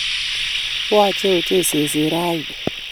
Yoche ochei seset rani